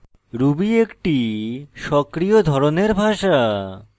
ruby একটি সক্রিয় ধরনের ভাষা